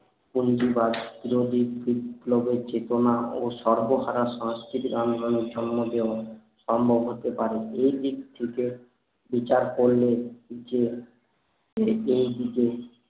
ফন্দিবাজ যদি খুট লোকের চেতনা ও সর্বহারা সংকস্কৃতি আন্দোলনের জন্ম দেব সম্ভব হতে পারে এই দিক থেকে বিচার করলে যে দিকে